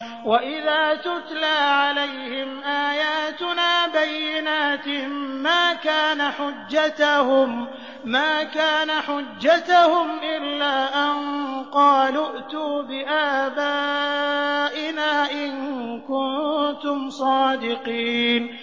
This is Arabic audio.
وَإِذَا تُتْلَىٰ عَلَيْهِمْ آيَاتُنَا بَيِّنَاتٍ مَّا كَانَ حُجَّتَهُمْ إِلَّا أَن قَالُوا ائْتُوا بِآبَائِنَا إِن كُنتُمْ صَادِقِينَ